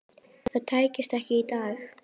Það tækist ekki í dag.